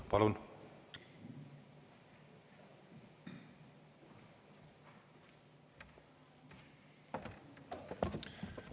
Palun!